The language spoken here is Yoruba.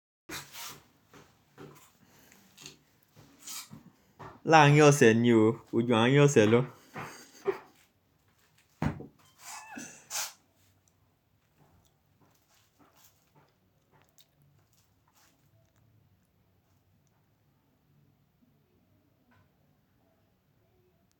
Láàárín ọ̀sẹ̀ ni o. Koju aárin ọ̀sẹ̀ lọ.